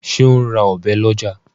ṣe o ń rà Ọ̀bẹ ló ọjà?